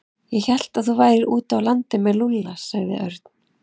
Ég hélt að þú værir úti á landi með Lúlla sagði Örn.